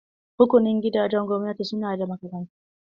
Rukunin gidajen gwamnati su na da makarantun?